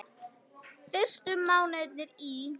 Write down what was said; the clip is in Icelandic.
Fyrstu mánuðir í